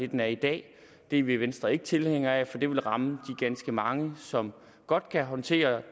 den er i dag det er vi i venstre ikke tilhængere af for det vil ramme ganske mange som godt kan håndtere